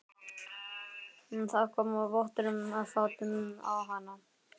Það kom vottur af fáti á hana.